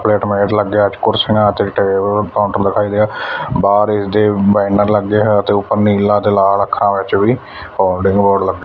plate light ਲੱਗਿਆ ਕੁਰਸੀਆਂ ਤੇ ਟੇਬਲ ਕਾਊਂਟਰ ਦਿਖਾਈ ਦੇ ਰਿਹਾ ਬਾਹਰ ਇਸਦੇ ਬੈਨਰ ਲੱਗਿਆ ਹੋਇਆ ਤੇ ਉੱਪਰ ਨੀਲਾ ਤੇ ਲਾਲ ਅੱਖਰਾਂ ਵਿੱਚ ਵੀ ਹੋਲਡਿੰਗ ਬੋਰਡ ਲੱਗ --